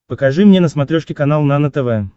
покажи мне на смотрешке канал нано тв